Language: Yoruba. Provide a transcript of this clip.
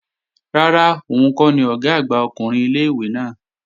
Rárá, òun kọ́ ni Ọ̀gá àgbà ọkùnrin ilé-ìwé náà